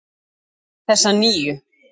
Þessa nýju.